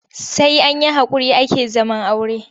Sai an yi haƙuri ake zaman aure.